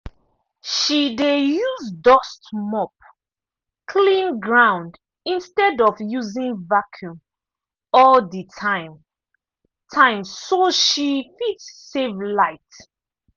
she dey use dust mop clean ground instead of using vacuum all the time time so she fit save light.